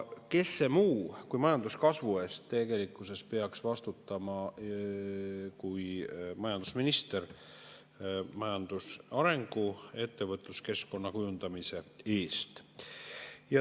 Kes see muu majanduskasvu eest tegelikkuses peaks vastutama kui majandusminister – majandusarengu ja ettevõtluskeskkonna kujundamise eest.